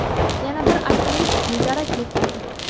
Yana bir alpinist bedarak yo‘qoldi.